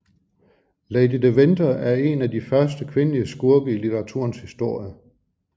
Lady de Winther er en af de første kvindelige skurke i litteraturens historie